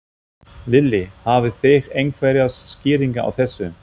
Lillý: Hafið þið einhverjar skýringar á þessu?